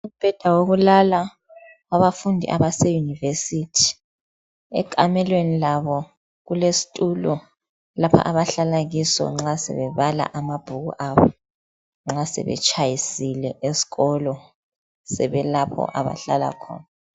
Umbheda wokulala wabafundi abase univesithi ekhamelweni labo kulesitulo lapha abahlala kuso nxa sebebala amabhuku abo nxa sebetshayisile esikolo sebelapho abahlala khona